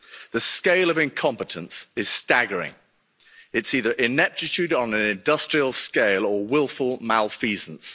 The scale of incompetence is staggering. It's either ineptitude on an industrial scale or wilful malfeasance.